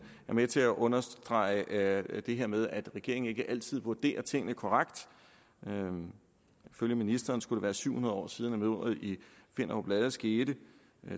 med til at understrege det her med at regeringen ikke altid vurderer tingene korrekt ifølge ministeren skulle det være syv hundrede år siden at mordet i finderup lade skete